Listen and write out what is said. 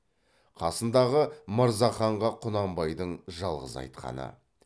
қасындағы мырзаханға құнанбайдың жалғыз айтқаны